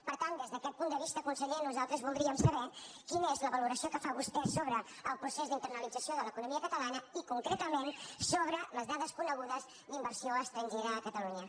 per tant des d’aquest punt de vista conseller nosal·tres voldríem saber quina és la valoració que fa vostè sobre el procés d’internalització de l’economia catala·na i concretament sobre les dades conegudes d’inver·sió estrangera a catalunya